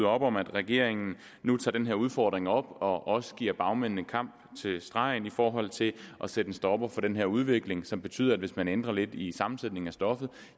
op om at regeringen nu tager den her udfordring op og også giver bagmændene kamp til stregen i forhold til at sætte en stopper for den her udvikling som betyder at hvis man ændrer lidt i sammensætningen af stoffet